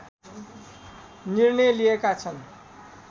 निर्णय लिएका छन्